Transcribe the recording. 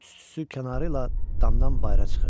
Üstü kənarı ilə damdan bayıra çıxırdı.